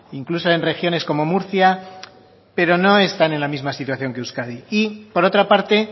incluso en regiones como murcia pero no están en la misma situación que euskadi y por otra parte